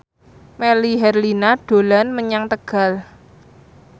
Melly Herlina dolan menyang Tegal